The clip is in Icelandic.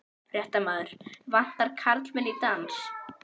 Fréttamaður: Vantar karlmenn í dans?